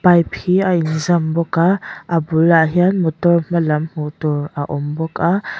pipe hi a inzam bawk a a bulah hian motor hmalam hmuh tur a awm bawk a--